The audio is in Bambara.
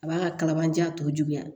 A b'a ka kalabanjan tɔjuguya